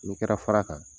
N'i kɛra fara kan